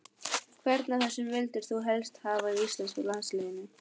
Hvern af þessum vildir þú helst hafa í íslenska landsliðinu?